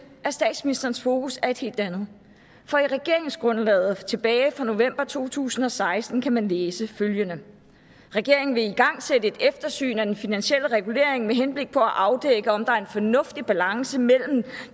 at statsministerens fokus er et helt andet for i regeringsgrundlaget tilbage i november to tusind og seksten kan man læse følgende regeringen vil igangsætte et eftersyn af den finansielle regulering med henblik på at afdække om der er en fornuftig balance mellem